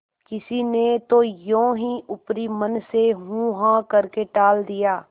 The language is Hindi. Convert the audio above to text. किसी ने तो यों ही ऊपरी मन से हूँहाँ करके टाल दिया